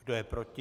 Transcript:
Kdo je proti?